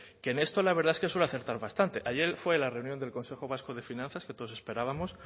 que en esto la verdad es que suele acertar bastante ayer fue la reunión del consejo vasco de finanzas que todos esperábamos